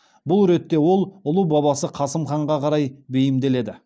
бұл ретте ол ұлы бабасы қасым ханға қарай бейімделеді